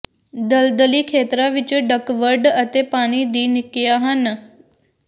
ਦਲਦਲੀ ਖੇਤਰਾਂ ਵਿਚ ਡੱਕਵਡ ਅਤੇ ਪਾਣੀ ਦੀ ਨਿੱਕੀਆਂ ਹਨ